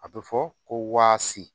A bɛ fɔ ko waasi